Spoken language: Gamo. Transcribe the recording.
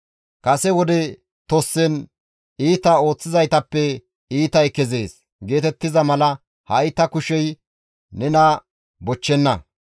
Kase wode tossen, ‹Iita ooththizaytappe iitay kezees› geetettiza mala ha7i ta kushey nena bochchenna.